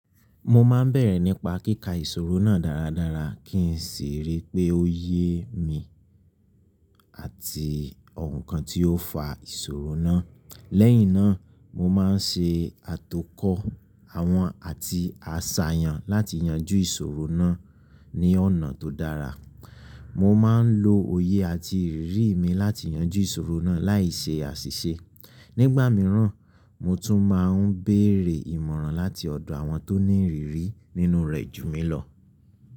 Mo máa ń bẹ̀rẹ̀ nípa kíkà ìṣòro náà dáradára kí n sì rí pé ó yẹ́ mi àti ohun kan tí ó fa ìṣòro náà. Lẹ́yìn náà, mo máa ń ṣe àtọkọ̀ àwọn àti àṣàyàn láti yanjú ìṣòro náà ní ọ̀nà tó dára. Mo máa ń lo òye àti ìrírí mi láti yanjú ìṣòro náà láìṣe àṣìṣe. Nígbà mìíràn, mo tún máa ń béèrè ìmọ̀ràn láti ọ̀dọ̀ àwọn tó ní ìrírí nínú rẹ̀ ju mi lọ.